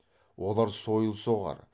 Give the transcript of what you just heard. олар сойыл соғар